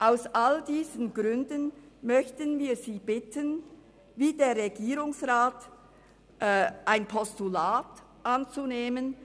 Aus all diesen Gründen möchten wir Sie bitten, wie der Regierungsrat, die Motion als Postulat anzunehmen.